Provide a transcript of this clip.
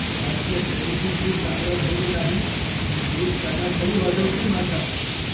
आजच्या शर्यतीत मी चांगला धावलो नाही तर कोच कानाखाली वाजवतील माझ्या.